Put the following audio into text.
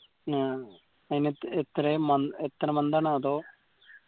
ഏർ അയിന് എത്ര എത്രയാ എത്ര month ആ അതോ